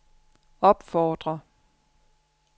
opfordrer